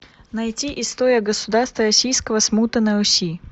найти история государства российского смута на руси